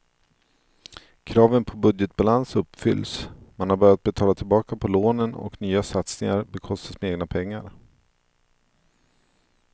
Kraven på budgetbalans uppfylls, man har börjat betala tillbaka på lånen och nya satsningar bekostas med egna pengar.